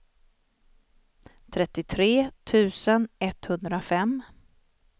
trettiotre tusen etthundrafem